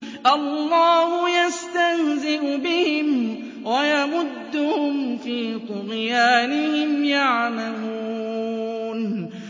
اللَّهُ يَسْتَهْزِئُ بِهِمْ وَيَمُدُّهُمْ فِي طُغْيَانِهِمْ يَعْمَهُونَ